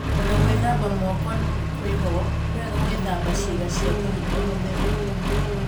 Onagũithamba mooko kwĩho, nĩwega gwithamba ciĩga cia thiri o-mũthenya.